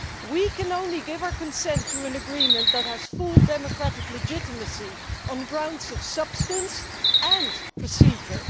We can only give our consent to an agreement that has full democratic legitimacy, on grounds of substance and procedure.